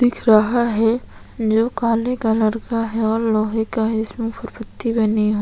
दिख रहा है जो काले कलर का है और लोहे का इसमें फूल पत्ती बनी हुई है।